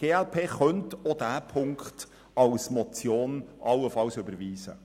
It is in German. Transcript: Die glp könnte auch diese Ziffer als Motion allenfalls überweisen.